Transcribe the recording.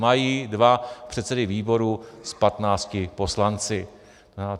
Mají dva předsedy výborů s patnácti poslanci.